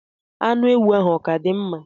Anụ ewu ahụ ọ ka dịkwa mma?